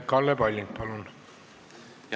Kalle Palling, palun!